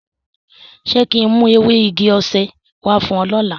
Ṣe kin mu ewe igi osé wa fun o lọla?